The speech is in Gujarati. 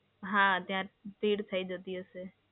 હા, ત્યાં ભીડ થઈ જતી હશે.